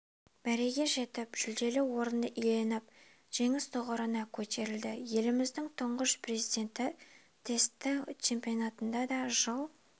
мәреге жетіп жүлделі орынды иеленіп жеңіс тұғырына көтерілді еліміздің тұңғыш президенті тесті чемпионатында да жыл